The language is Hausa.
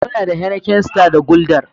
Muna da Heineken, Star da Guldar.